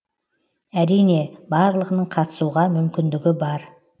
әрине барлығының қатысуға мүмкіндігі бар